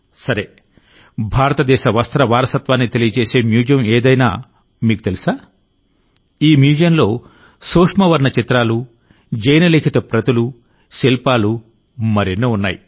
సరే భారతదేశ వస్త్ర వారసత్వాన్ని తెలియజేసే మ్యూజియం ఏదైనా మీకు తెలుసా ఈ మ్యూజియంలో సూక్ష్మ వర్ణ చిత్రాలు జైన లిఖిత ప్రతులు శిల్పాలు మరెన్నో ఉన్నాయి